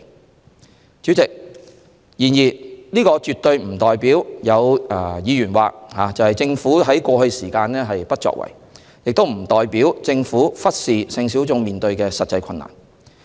然而，主席，政府絕非如議員所言在過去不作為，亦不代表政府忽視性小眾所面對的實際困難。